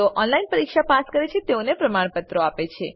જેઓ ઓનલાઈન પરીક્ષા પાસ કરે છે તેઓને પ્રમાણપત્રો આપે છે